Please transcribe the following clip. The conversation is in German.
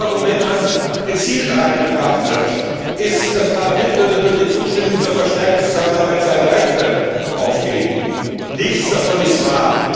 Das dritte Argument, das gezielt eingebracht wird, ist, das Parlament würde durch die Zustimmung zur verstärkten Zusammenarbeit seine Rechte aufgeben nichts davon ist wahr.